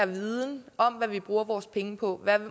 viden om hvad vi bruger vores penge på